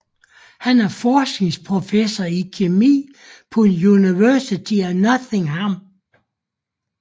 Han er forskningsprofessor i kemi på University of Nottingham